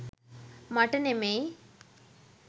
මට නෙමෙයි.